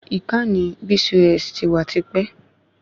Ìkànnì BCOS ti wà tipẹ́